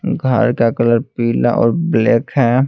घर का कलर पीला और ब्लैक है।